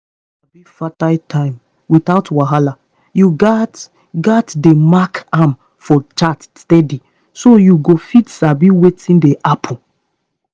if you wan sabi your fertile time without wahala you gats gats dey mark am for chart steady so you go fit sabi wetin dey happen